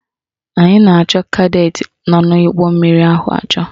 Anyị na-achọ kadetị nọ n'ụgbọmmiri ahụ achọ